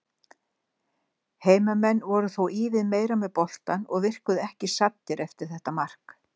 Heimamenn voru þó ívið meira með boltann og virkuðu ekki saddir eftir þetta mark.